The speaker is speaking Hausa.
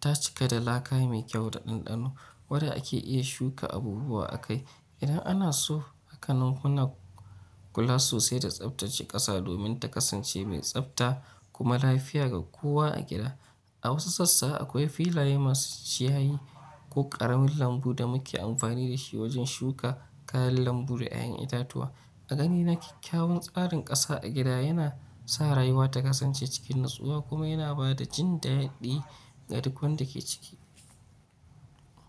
ta cika da laka mai kyau da ɗanɗano wadda ake iya shuka abubuwa akai idan ana so. Haka nan muna kula sosai da tsaftace ƙasa domin ta kasance mai tsafta kuma lafiya ga kowa a gida. A wasu sassa akwai filaye masu ciyayi ko ƙaramin lambu da muke amfani da shi wajen shuka kayan lambu da ‘ya’yan itatuwa. A ganina kyakkyawan tsarin ƙasa a gida yana sa rayuwa ta kasance cikin natsuwa kuma yana ba da jin daɗi ga duk wanda ke ciki.